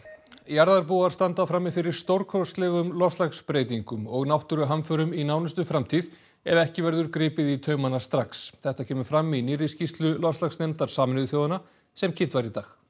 jarðarbúar standa frammi fyrir stórkostlegum loftslagsbreytingum og náttúruhamförum í nánustu framtíð ef ekki verður gripið í taumana strax þetta kemur fram í nýrri skýrslu loftslagsnefndar Sameinuðu þjóðanna sem kynnt var í dag